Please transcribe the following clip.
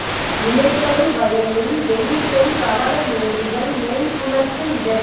விளைதரு வயலுள் வெயில் செறி பவளம் மேதிகள் மேய் புலத்து இடறி